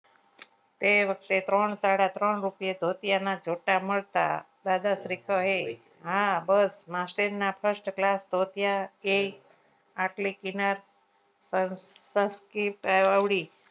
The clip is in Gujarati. એ વખતે ત્રણ સાડા ત્રણ રૂપિયા ધોતિયાના જોટા મળતા દાદા શ્રી કહે હા બસ માસીના first class ધોતિયા એ પતલી કિનાર પર